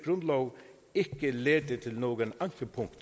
grundlov ikke lede til nogen ankepunkter